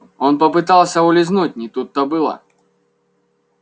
он попытался улизнуть не тут-то было